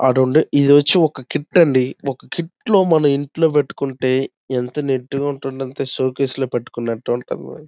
అటు ఉండి ఇది వచ్చి ఒక కిట్ అండి ఒక కిటి లో మనం ఇంట్లో పెట్టుకుంటే ఎంత నీటి గా ఉంటుంది అంటే షోకేస్ లో పెట్టుకునట్టు ఉంటుంది --